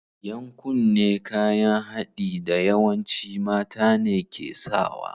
Yan kunne kayan haɗi da yawanci mata ne ke sawa.